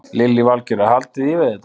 Lillý Valgerður: Haldiði í við þetta?